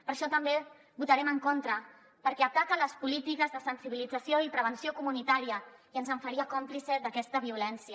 per això també hi votarem en contra perquè ataca les polítiques de sensibilització i prevenció comunitària i ens faria còmplices d’aquesta violència